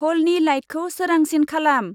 ह'लनि लाइटखौ सोरांसिन खालाम।